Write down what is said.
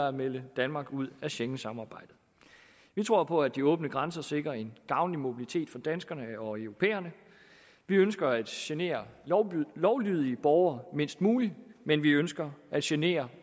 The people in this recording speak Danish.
og melde danmark ud af schengensamarbejdet vi tror på at de åbne grænser sikrer en gavnlig mobilitet for danskerne og europæerne vi ønsker at genere lovlydige borgere mindst muligt men vi ønsker at genere